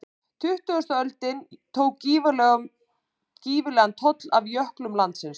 Tuttugasta öldin tók gífurlegan toll af jöklum landsins.